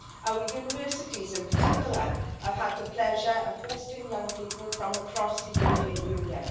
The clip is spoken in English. Our universities in particular have had the pleasure of hosting young people from across the European Union.